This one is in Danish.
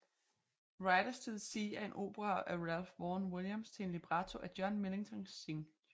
Riders to the Sea er en opera af Ralph Vaughan Williams til en libretto af John Millington Synge